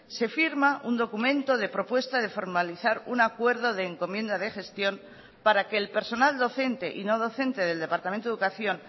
se firma un documento de propuesta de formalizar un acuerdo de encomienda de gestión para que el personal docente y no docente del departamento de educación